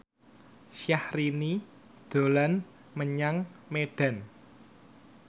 Syahrini dolan menyang Medan